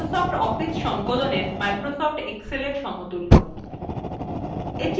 এটি microsoft office সংকলনএর microsoft excelএর সমতুল্য